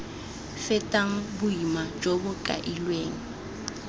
fetang boima jo bo kailweng